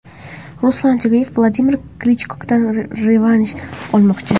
Ruslan Chagayev Vladimir Klichkodan revansh olmoqchi.